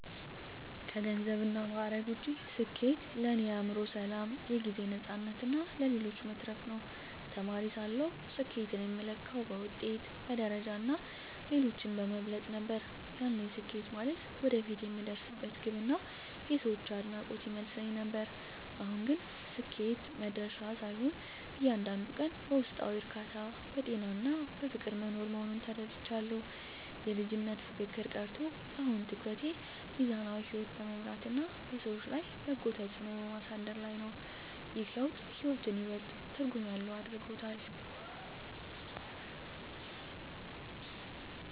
ከገንዘብና ማዕረግ ውጭ፣ ስኬት ለእኔ የአእምሮ ሰላም፣ የጊዜ ነፃነትና ለሌሎች መትረፍ ነው። ተማሪ ሳለሁ ስኬትን የምለካው በውጤት፣ በደረጃና ሌሎችን በመብለጥ ነበር፤ ያኔ ስኬት ማለት ወደፊት የምደርስበት ግብና የሰዎች አድናቆት ይመስለኝ ነበር። አሁን ግን ስኬት መድረሻ ሳይሆን፣ እያንዳንዱን ቀን በውስጣዊ እርካታ፣ በጤናና በፍቅር መኖር መሆኑን ተረድቻለሁ። የልጅነት ፉክክር ቀርቶ፣ አሁን ትኩረቴ ሚዛናዊ ሕይወት በመምራትና በሰዎች ላይ በጎ ተጽዕኖ በማሳደር ላይ ነው። ይህ ለውጥ ሕይወትን ይበልጥ ትርጉም ያለው አድርጎታል።